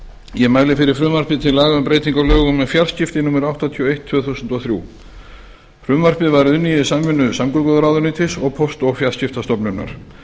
ég mæli fyrir frumvarpi til laga um breytingu á lögum um fjarskipti númer áttatíu og eitt tvö þúsund og þrjú frumvarpið var unnið í samvinnu samgönguráðuneytis og póst og fjarskiptastofnunar